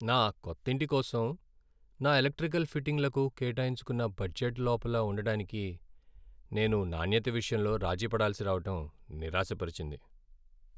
నా కొత్తింటి కోసం నా ఎలక్ట్రికల్ ఫిట్టింగ్లకు కేటాయించుకున్న బడ్జెట్ లోపల ఉండడానికి నేను నాణ్యత విషయంలో రాజీ పడాల్సి రావడం నిరాశపరిచింది.